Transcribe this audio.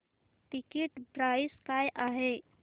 ticket price काय आहे